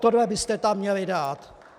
Tohle byste tam měli dát!